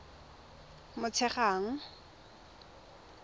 motshegang